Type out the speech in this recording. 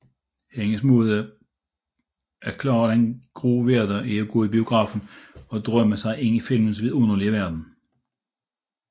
Hendes måde at klare den grå hverdag er at gå i biografen og drømme sig ind i filmenes vidunderlige verden